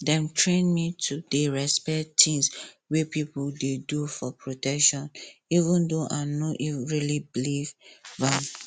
dem train me to dey respect tins wey people dey do for protection even though i no really believe am